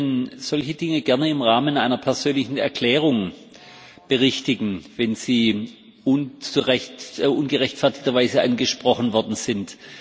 Sie können solche Dinge gerne im Rahmen einer persönlichen Erklärung berichtigen, wenn Sie ungerechtfertigterweise angesprochen worden sind.